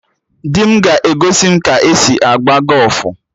Di m ga-egosi m ka e si agba gọfụ